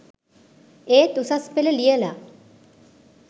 ඒත් උසස් පෙළ ලියලා